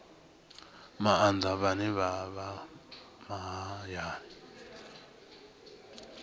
maanḓa vhane vha vha mahayani